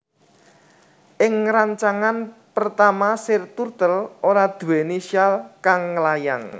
Ing rancangan pertama Sir Turtle ora duwéni syal kang nglayang